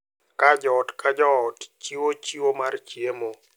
Ka joot ka joot chiwo chiwo mar chiemo.